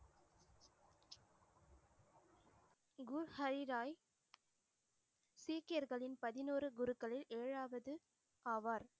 குரு ஹரிராய், சீக்கியர்களின் பதினொரு குருக்களில் ஏழாவது ஆவார்.